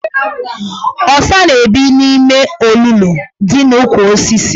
Ọsa na-ebi n' ime olulu dị n' ukwu osisis.